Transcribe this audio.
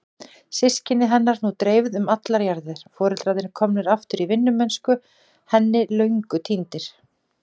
Systkini hennar nú dreifð um allar jarðir, foreldrarnir komnir aftur í vinnumennsku henni löngu týndir.